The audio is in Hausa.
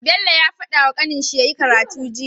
Bello ya fadawa kanin shi yyi karatu jiya